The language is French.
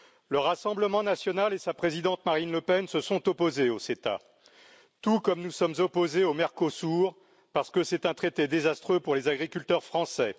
Le Rassemblement national et sa présidente Marine Le Pen se sont opposés au CETA, tout comme nous sommes opposés au Mercosur, parce que c'est un traité désastreux pour les agriculteurs français.